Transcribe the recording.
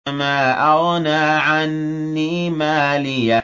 مَا أَغْنَىٰ عَنِّي مَالِيَهْ ۜ